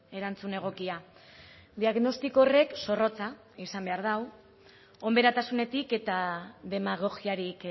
erantzun egokia diagnostiko horrek zorrotza izan behar du onberatasunetik eta demagogiarik